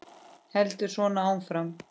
Heldur svo áfram: